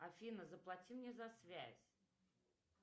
афина заплати мне за связь